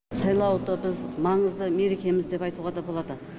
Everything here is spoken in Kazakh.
сайлауды біз маңызды мерекеміз деп айтуға да болады